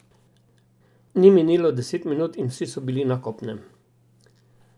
Ni minilo deset minut in vsi so bili na kopnem.